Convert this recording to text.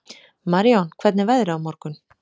Marijón, hvernig er veðrið á morgun?